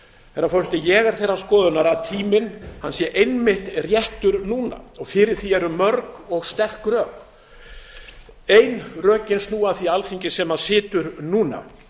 herra forseti ég er þeirrar skoðunar að tíminn sé einmitt réttur núna og fyrir því eru mörg og sterk rök ein rökin snúa að því alþingi sem situr núna